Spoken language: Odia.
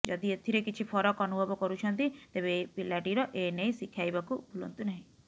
ଯଦି ଏଥିରେ କିଛି ଫରକ ଅନୁଭବ କରୁଛନ୍ତି ତେବେ ପିଲାଟିର ଏ ନେଇ ଶିଖାଇବାକୁ ଭୁଲନ୍ତୁ ନାହିଁ